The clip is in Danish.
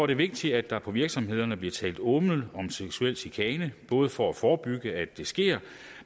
det vigtigt at der på virksomhederne bliver talt åbent om seksuel chikane både for at forebygge at det sker